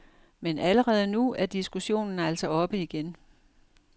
Men allerede nu er diskussionen altså oppe igen.